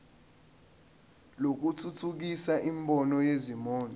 lokuthuthukisa imboni yezimoto